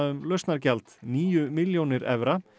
um lausnargjald níu milljónir evra